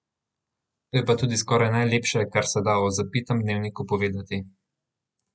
To je pa tudi skoraj najlepše, kar se da o Zapitem dnevniku povedati.